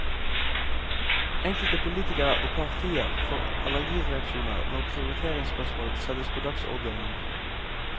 Enkelte politikere og partier får allergireaksjoner når prioriteringsspørsmål settes på dagsordenen.